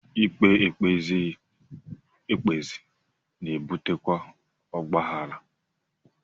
Ikpe e kpezighị ekpezi na-ebutekwa ọgbaghara